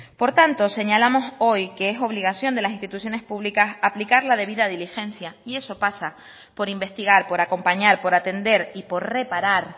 por tanto señalamos hoy que es obligación de las instituciones públicas aplicar la debida diligencia y eso pasa por investigar por acompañar por atender y por reparar